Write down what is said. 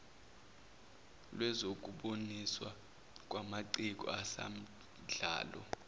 lwezokuboniswa kwamaciko asamdlalo